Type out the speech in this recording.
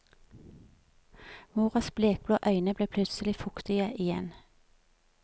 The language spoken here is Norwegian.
Moras blekblå øyne ble plutselig fuktige igjen.